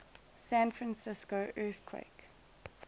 san francisco earthquake